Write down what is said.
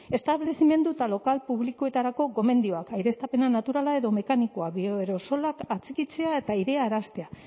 establezimendu eta lokal publikoetarako gomendioak aireztapen naturala edo mekanikoa bioaerosolak atxikitzea eta airearaztea